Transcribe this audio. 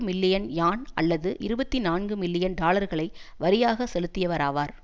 million யான் அல்லது இருபத்தி நான்கு மில்லியன் டாலர்களை வரியாக செலுத்தியவராவார்